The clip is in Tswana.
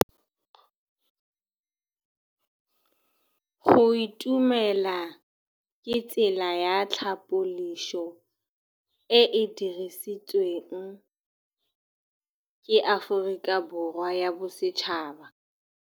Go itumela ke tsela ya tlhapolisô e e dirisitsweng ke Aforika Borwa ya Bosetšhaba.